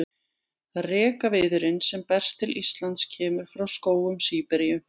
Rekaviðurinn sem berst til Íslands kemur frá skógum Síberíu.